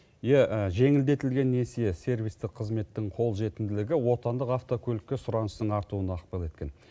иә жеңілдетілген несие сервистік қызметтің қолжетімділігі отандық автокөлікке сұраныстың артуына ықпал еткен